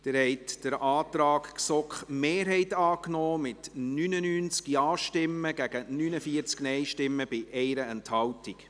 Sie haben den Antrag GSoK-Mehrheit angenommen mit 99 Ja-Stimmen gegen 49-NeinStimmen bei 1 Enthaltung.